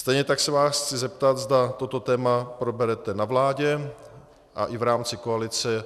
Stejně tak se vás chci zeptat, zda toto téma proberete na vládě a i v rámci koalice